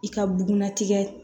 I ka bunnatigɛ